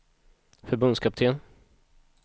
förbundskapten